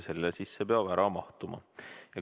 Selle sisse peab kõne ära mahtuma.